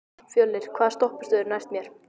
Fjölnir, hvaða stoppistöð er næst mér?